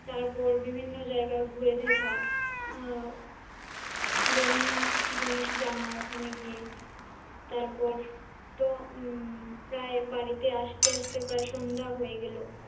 তারপর বিভিন্ন জায়গা ঘুরে দেখা আহ বিভিন্ন জিনিস জানা ওখানে গিয়ে তারপর তো উম প্রায় বাড়িতে আসতে আসতে প্রায় সন্ধ্যা হয়ে গেল,